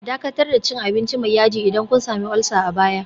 Dakatar da cin abinci mai yaji idan kun sami ulcer a baya